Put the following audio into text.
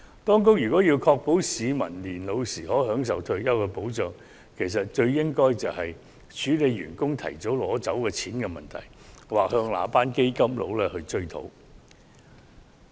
當局如要確保市民年老時可享有退休保障，便應處理員工提早取走強積金供款的問題，又或向那些基金經理追討。